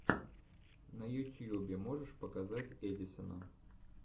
на ютьюбе можешь показать эдисона